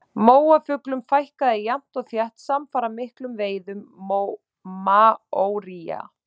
Móafuglum fækkaði jafnt og þétt samfara miklum veiðum maóría.